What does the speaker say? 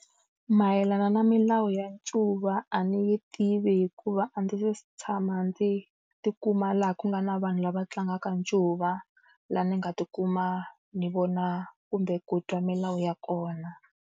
Mayelana na milawu ya ncuva a ni yi tivi hikuva a ndzi se tshama ndzi tikuma laha ku nga na vanhu lava tlangaka ncuva, laha ni nga tikuma ni vona kumbe ku twa milawu ya kona.